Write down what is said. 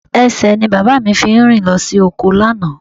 Ẹsẹ̀ ni bàbá mi fi rìn lọ sí oko lánàá